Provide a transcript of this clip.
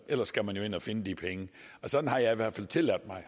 ellers skal man jo ind og finde de penge sådan har jeg i hvert fald tilladt mig